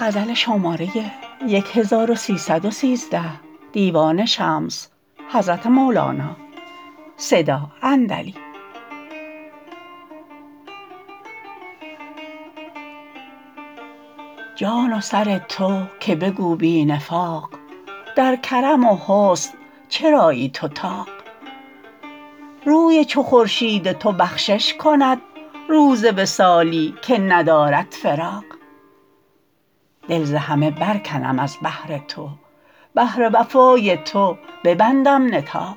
جان و سر تو که بگو بی نفاق در کرم و حسن چرایی تو طاق روی چو خورشید تو بخشش کند روز وصالی که ندارد فراق دل ز همه برکنم از بهر تو بهر وفای تو ببندم نطاق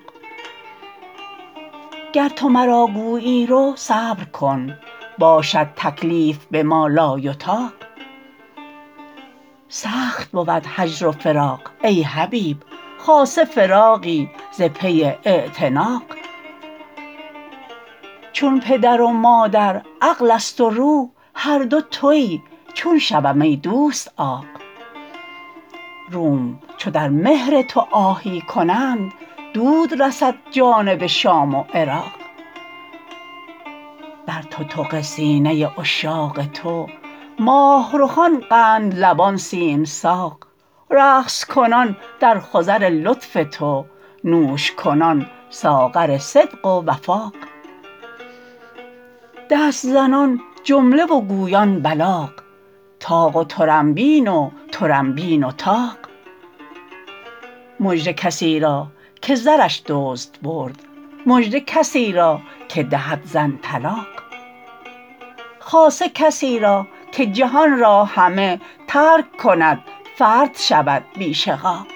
گر تو مرا گویی رو صبر کن باشد تکلیف بما لایطاق سخت بود هجر و فراق ای حبیب خاصه فراقی ز پی اعتناق چون پدر و مادر عقلست و روح هر دو توی چون شوم ای دوست عاق روم چو در مهر تو آهی کنند دود رسد جانب شام و عراق در تتق سینه عشاق تو ماه رخان قندلبان سیم ساق رقص کنان در خضر لطف تو نوش کنان ساغر صدق و وفاق دست زنان جمله و گویان بلاغ طاق و طرنبین و طرنبین و طاق مژده کسی را که زرش دزد برد مژده کسی را که دهد زن طلاق خاصه کسی را که جهان را همه ترک کند فرد شود بی شقاق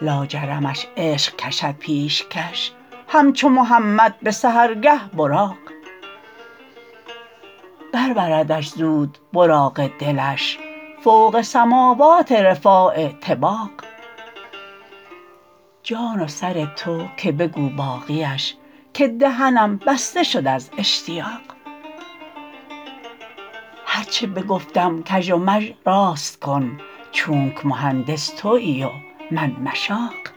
لاجرمش عشق کشد پیشکش همچو محمد به سحرگه براق بربردش زود براق دلش فوق سماوات رفاع طباق جان و سر تو که بگو باقیش که دهنم بسته شد از اشتیاق هر چه بگفتم کژ و مژ راست کن چونک مهندس توی و من مشاق